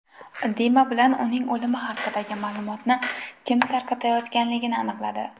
Dima Bilan uning o‘limi haqidagi ma’lumotni kim tarqatayotganligini aniqladi.